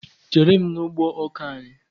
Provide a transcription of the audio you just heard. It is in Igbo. Chéré m n' ụgbọ ọkà anyị!!!!!